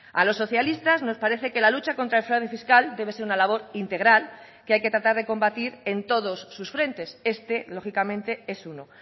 a los socialistas nos parece que la lucha contra el fraude fiscal debe ser una labor integral que hay que tratar de combatir en todos sus frentes este lógicamente es uno